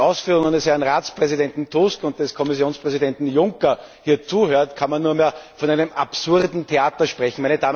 Wenn man den Ausführungen des Herrn Ratspräsidenten Tusk und des Kommissionspräsidenten Juncker hier zuhört, kann man nur mehr von einem absurden Theater sprechen.